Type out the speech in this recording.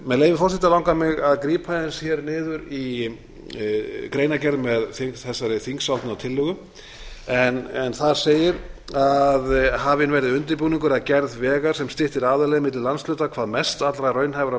með leyfi forseta langar mig að grípa aðeins hér niður í greinargerð með þessari þingsályktunartillögu en þar segir að hafinn verði undirbúningur að gerð vegar sem styttir aðalleið milli landshluta hvað mest allra raunhæfra